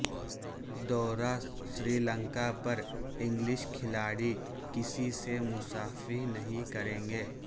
دورہ سری لنکا پر انگلش کھلاڑی کسی سے مصافحہ نہیں کریں گے